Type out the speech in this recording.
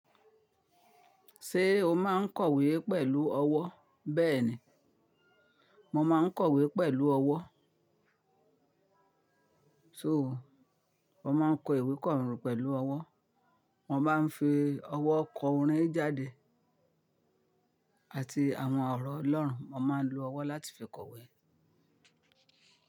Ṣé o máa ń kọ̀wé pẹ̀lú ọwọ́? Bẹ́ẹ̀ni, mo máa kọ̀wé pẹ̀lú ọwọ́. So wọ́n máa ń kọ ìwé kọ́ ọrùn pẹ̀lú ọwọ́. Mo máa ń fi ọwọ́ kọ orin jáde àti àwọn ọ̀rọ̀ Ọlọ́run. Wọ́n máa ń lo ọwọ́ láti fi kọ̀wé.